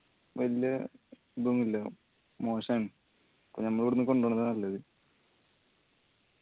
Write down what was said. വെല്ല ഇതൊന്നുള്ള മോശാണ് അപ്പൊ ഞമ്മള് ഇവിടുന്ന് കൊണ്ടുപോവണതാ നല്ലത്